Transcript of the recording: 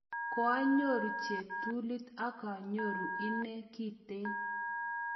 Koanyuru cheptulit ak anyoru inee kitten.